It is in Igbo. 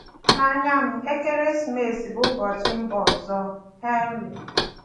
Nanya m, ekeresimesi bụ ụbọchị mba ọzọ — HENRY